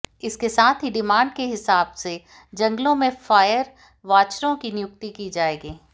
इसके साथ ही डिमांड के हिसाब से जंगलों में फायर वाचरों की नियुक्ति की जाएगी